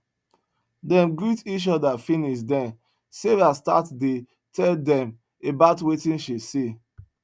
dem greet each oda finis den sarah start dey tell dem about wetin she see